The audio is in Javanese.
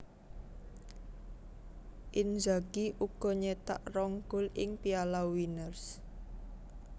Inzagi uga nyetak rong gol ing Piala Winners